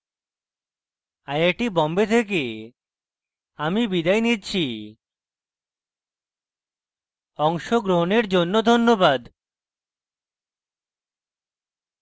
I I T Bombay থেকে আমি বিদায় নিচ্ছি অংশগ্রহনের জন্য ধন্যবাদ